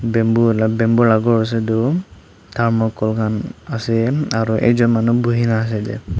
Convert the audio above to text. bamboo la bamboo la ghor ase etu thermacol khan ase aro ekjun manu buhi na ase ede.